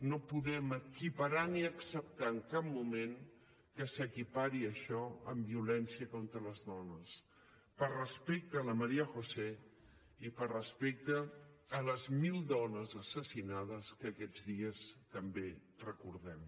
no podem equiparar ni acceptar en cap moment que s’equipari això amb violència contra les dones per respecte a la maría josé i per respecte a les mil dones assassinades que aquests dies també recordem